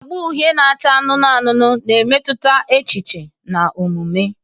Agba uhie na acha anụnụ anụnụ na-emetụta echiche na omume.